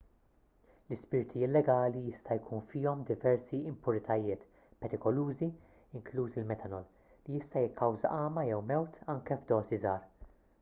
l-ispirti illegali jista' jkun fihom diversi impuritajiet perikolużi inkluż il-metanol li jista' jikkawża għama jew mewt anke f'dożi żgħar